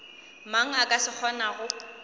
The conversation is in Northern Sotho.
mang a ka se kgonago